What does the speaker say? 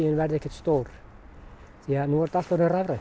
verði ekkert stór því nú er þetta allt orðið rafrænt